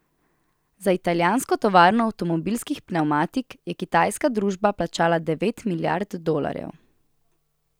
Za italijansko tovarno avtomobilskih pnevmatik je kitajska družba plačala devet milijard dolarjev.